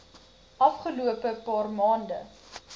afgelope paar maande